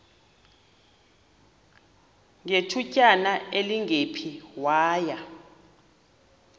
ngethutyana elingephi waya